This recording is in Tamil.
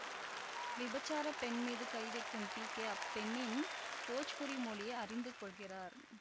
விபச்சார பெண் மீது கை வைக்கும் பிகே அப்பெண்ணின் போஜ்புரி மொழியை அறிந்துகொள்கிறார்